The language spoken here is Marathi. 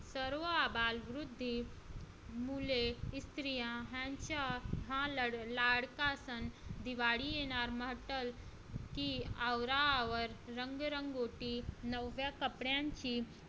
सर्व अबालवृद्धी मुले स्त्रिया यांचा हा लाडका सण दिवाळी येणार म्हटलं की आवरा आवर रंगरंगोटी नव्या कपड्यांची